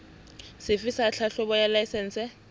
sefe sa tlhahlobo ya laesense